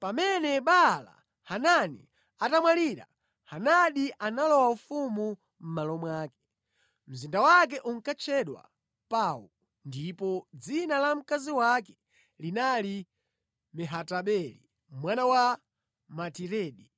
Pamene Baala-Hanani anamwalira, Hadadi analowa ufumu mʼmalo mwake. Mzinda wake unkatchedwa Pau, ndipo dzina la mkazi wake linali Mehatabeli mwana wa Matiredi,